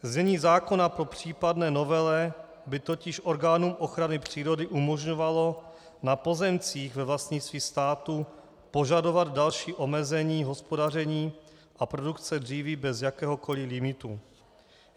Znění zákona po případné novele by totiž orgánům ochrany přírody umožňovalo na pozemcích ve vlastnictví státu požadovat další omezení hospodaření a produkce dříví bez jakéhokoli limitu.